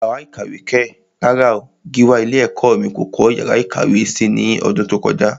Yàrá ìkàwé kẹ̀! rárá o, Gíwá ilé ẹ̀kọ́ mí kò kọ́ yàrá ìkàwé si ní ọdún tó kọjá.